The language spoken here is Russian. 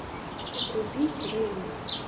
вруби боевик